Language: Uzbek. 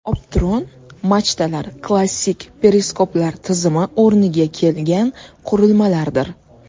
Optron machtalar klassik periskoplar tizimi o‘rniga kelgan qurilmalardir.